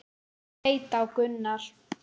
Birkir leit á Gunnar.